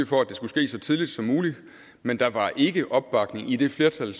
for at det skulle ske så tidligt som muligt men der var ikke opbakning i det flertal